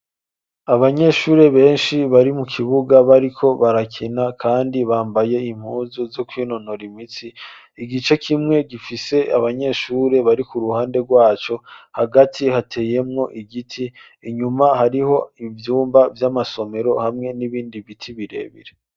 Abanyeshure benshi bari mu kibuga bariko barakena, kandi bambaye impuzu zo kwinonora imitsi igice kimwe gifise abanyeshure bari ku ruhande rwaco hagati hateyemwo igiti inyuma hariho ivyumba vy'amasomero hamwe n'ibindi biti birebire.